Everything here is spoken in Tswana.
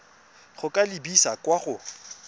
go ka lebisa kwa go